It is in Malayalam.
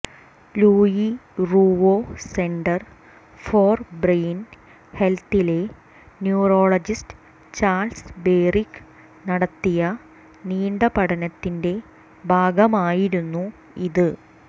Louis Ruvo Center for Brain ഹെൽത്തിലെ ന്യൂറോളജിസ്റ്റ് ചാൾസ് ബേറിക് നടത്തിയ നീണ്ട പഠനത്തിന്റെ ഭാഗമായിരുന്നു ഇത്